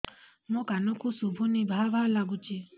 ମୋ କାନକୁ ଶୁଭୁନି ଭା ଭା ଲାଗୁଚି